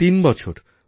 গততিন বছর